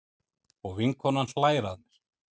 Og vinkonan hlær að mér.